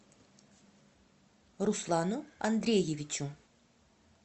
руслану андреевичу